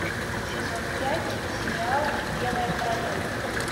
сезон пять сериал белая королева